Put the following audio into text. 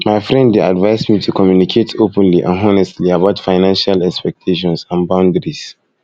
my friend dey advise me to communicate openly and honestly about financial expectations and boundaries